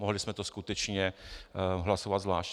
Mohli jsme to skutečně hlasovat zvlášť.